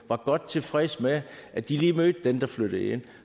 var godt tilfredse med at de lige mødte den der flyttede ind